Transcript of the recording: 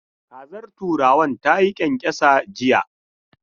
Kazar turawan ta yi kyankyasa jiya.